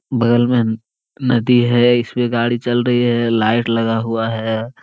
बगल में नदी है इस् पे गाड़ी चल रही है लाइट लगा हुआ है ।